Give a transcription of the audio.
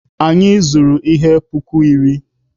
Anyị zụrụ ihe puku iri.